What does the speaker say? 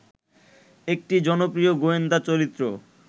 একটি জনপ্রিয় গোয়েন্দা চরিত্র